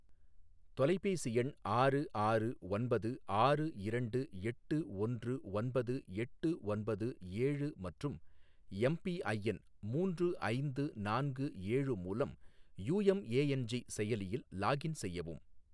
தொலைபேசி எண் ஆறு ஆறு ஒன்பது ஆறு இரண்டு எட்டு ஒன்று ஒன்பது எட்டு ஒன்பது ஏழு மற்றும் எம்பிஐஎன் மூன்று ஐந்து நான்கு ஏழு மூலம் யுஎம்எஎன்ஜி செயலியில் லாகின் செய்யவும்